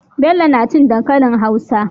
Bello nacin dankalin hausa